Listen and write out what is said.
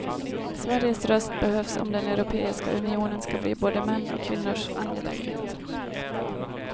Sveriges röst behövs om den europeiska unionen ska bli både mäns och kvinnors angelägenhet.